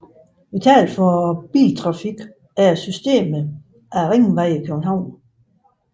Vitalt for biltrafikken er systemet af ringveje i København